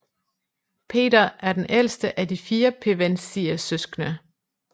Peter er den ældste af de fire pevensiesøskende